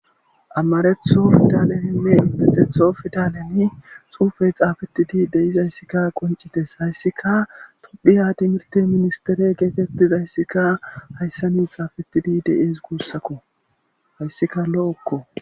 Ammareththo fitaleminne indetxetho fidalemi suufey xaafettidi deiz ayssikka qoncites hayssika tuphiya timirte ministere geetettizayssika hayssani xaafettidi de'ees guussakko hayssika lo'okko.